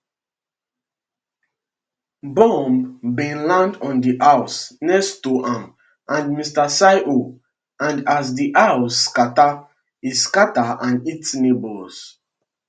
bomb bin land on di house next to am and mr cirho and as di house scatter e scatter and hit neighbours